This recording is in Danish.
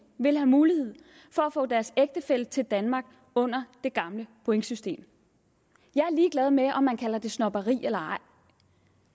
vil have mulighed for at få deres ægtefælle til danmark under det gamle pointsystem jeg er ligeglad med om man kalder det snobberi eller ej